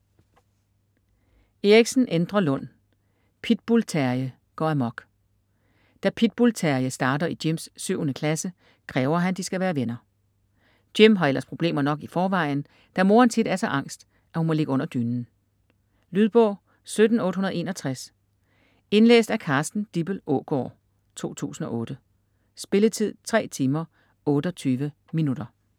Eriksen, Endre Lund: Pitbull-Terje går amok Da Pitbull-Terje starter i Jims 7.-klasse, kræver han de skal være venner. Jim har ellers problemer nok i forvejen da moren tit er så angst at hun må ligge under dynen. Lydbog 17861 Indlæst af Carsten Dippel Aagaard, 2008. Spilletid: 3 timer, 28 minutter.